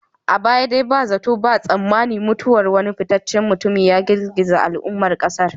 A baya dai ba zato ba tsammani mutuwar wani fitaccen mutumi ya girgiza al'ummar kasar.